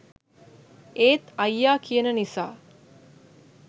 ඒත් අයියා කියන නිසා